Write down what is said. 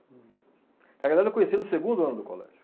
Na verdade, eu conhecia no segundo ano do colégio.